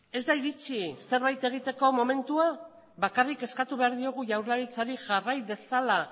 ez da iritsi zerbait egiteko momentua bakarrik eskatu behar diogu jaurlaritzari jarrai dezala